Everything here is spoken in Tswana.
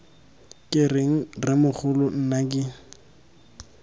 ke reng rremogolo nna ke